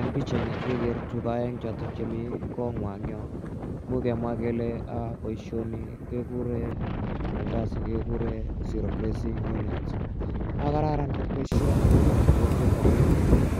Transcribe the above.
Eng' pichaini kekere tuga aeng' chotok chemi kong'wa en yon. Imuch kemwa kele poishoni kekure, anan kasini kekure zero grazing unit. Kararan kot poishoni eng' kokwet amu